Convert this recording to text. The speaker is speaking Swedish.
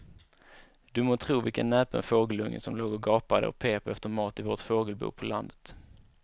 Du må tro vilken näpen fågelunge som låg och gapade och pep efter mat i vårt fågelbo på landet.